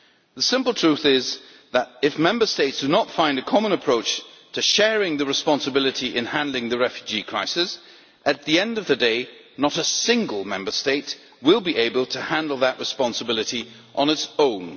The simple truth is that, if Member States do not find a common approach to sharing the responsibility in handling the refugee crisis, at the end of the day not a single Member State will be able to handle that responsibility on its own.